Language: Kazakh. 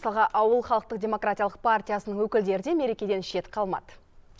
мысалға ауыл халықтық демократиялық партиясының өкілдері де мерекеден шет қалмады